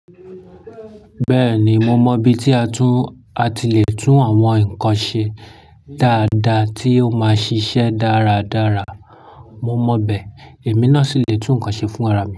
Bẹ́ẹ̀ni, mo mọ bi tí a tún a ti le tún àwọn nkan ṣe dáadáa tí ó máa ṣiṣẹ́ dáradára. Mo mọ bẹ, èmi náà sì le tún nkan ṣe fún ara mi.